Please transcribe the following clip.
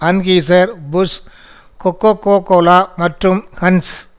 Anheuser Busch Coca Cola மற்றும் giants